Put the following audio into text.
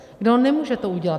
Kdo to nemůže udělat.